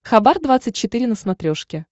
хабар двадцать четыре на смотрешке